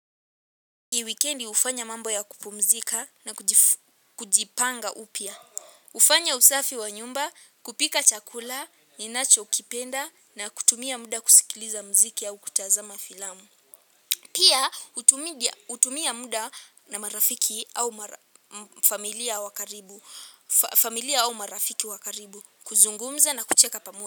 Hii wikendi hufanya mambo ya kupumzika na kujipanga upya. Hufanya usafi wa nyumba kupika chakula ninachokipenda na kutumia muda kusikiliza muziki au kutazama filamu. Pia hutumia muda na marafiki au familia wa karibu, kuzungumza na kucheka pamoja.